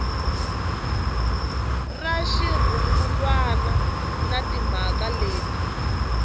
ra xirungulwana na timhaka leti